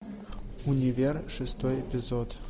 универ шестой эпизод